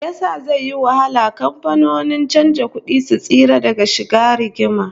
Why will it be difficult for bureau de change firms to stay out of trouble?